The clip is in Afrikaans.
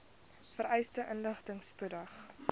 vereiste inligting spoedig